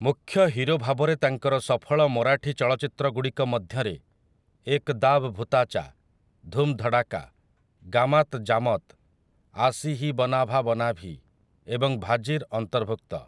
ମୁଖ୍ୟ ହିରୋ ଭାବରେ ତାଙ୍କର ସଫଳ ମରାଠୀ ଚଳଚ୍ଚିତ୍ରଗୁଡ଼ିକ ମଧ୍ୟରେ 'ଏକ୍ ଦାବ୍ ଭୁତାଚା', 'ଧୁମ୍ ଧଡ଼ାକା', 'ଗାମାତ୍ ଜାମତ୍', 'ଆଶି ହି ବନାଭା ବନାଭି' ଏବଂ 'ଭାଜିର' ଅନ୍ତର୍ଭୁକ୍ତ ।